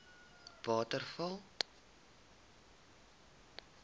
waterval